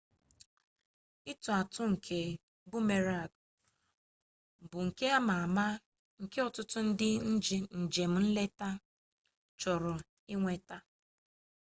ịtụ atụ nke boomerang bụ nka ama ama nke ọtụtụ ndị njem nleta chọrọ inweta